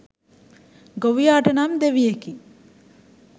ගොවියාට නම් දෙවියෙකි.